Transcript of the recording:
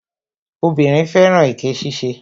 Obìnrin fẹ́ràn èké ṣíṣe